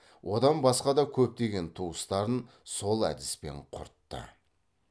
одан басқа да көптеген туыстарын сол әдіспен құртты